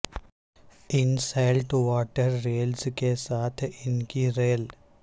ان salt water reels کے ساتھ ان کی ریل